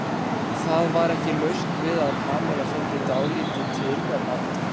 Það var ekki laust við að Kamilla fyndi dálítið til með Baldri.